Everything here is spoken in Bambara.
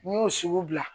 N y'o sugu bila